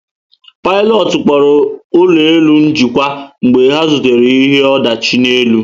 Pilotu kpọrọ ụlọ elu njikwa mgbe ha zutere ihe ọdachi n'elu